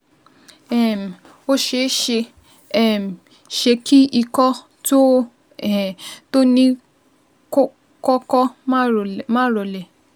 um Ó ṣé ṣé um ṣe kí ikọ́ tó o um to ní ko kọ́kọ́ máa rolẹ̀ máa rolẹ̀